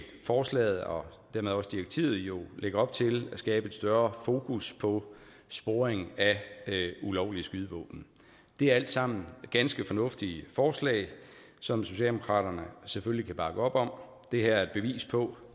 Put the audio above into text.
forslaget og dermed også direktivet jo lægge op til at skabe et større fokus på sporing af ulovlige skydevåben det er alt sammen ganske fornuftige forslag som socialdemokratiet selvfølgelig kan bakke op om det her er et bevis på